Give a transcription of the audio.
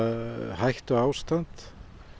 hættuástand